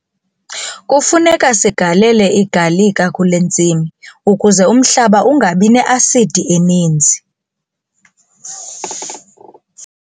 Kufuneka sigalele igalika kule ntsimi ukuze umhlaba ungabi ne-asidi eninzi.